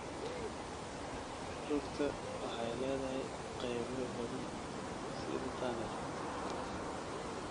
Rugta waxay leedahay qaybo badan sida tunnel-ka.